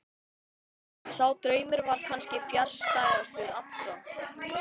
Sá draumur var kannski fjarstæðastur allra.